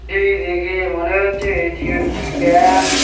এই দেখে মনে হচ্ছে এটি একটি ব্যাংক ।